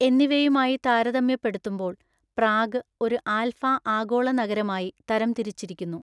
എന്നിവയുമായി താരതമ്യപ്പെടുത്തുമ്പോൾ പ്രാഗ് ഒരു ആൽഫ ആഗോള നഗരമായി തരംതിരിച്ചിരിക്കുന്നു.